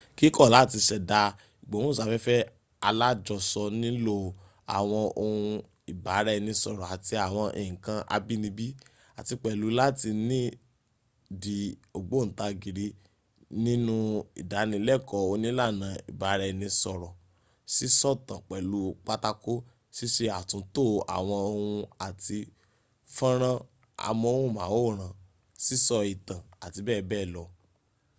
kíkọ́ láti ṣẹ̀da ìgbóhùnsáfẹ́fẹ́ alájọsọ nílò́ àwọn ohun ìbára-ẹni-sọ̀rọ̀ àti àwọn nǹkan abínibí àti pẹ̀lú láti ni di ògbóntarìgì nihnú ìdánilẹ́kọ̀ọ́ onílànà ìbara-ẹni sọ̀rọ̀ sísọ̀tàn-pẹ̀lú-pátákò ṣíṣe àtúntò àwọn ohùn àti ffọ́nrán amóhùnmáwòrán sísọ ìtàn abbl.